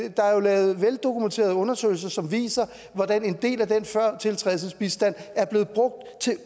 lavet veldokumenterede undersøgelser som viser hvordan en del af den førtiltrædelsesbistand er blevet brugt til